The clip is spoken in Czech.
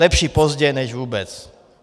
Lepší pozdě než vůbec!